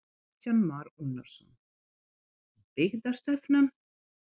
Kristján Már Unnarsson: Byggðastefnan?